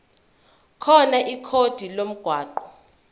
khona ikhodi lomgwaqo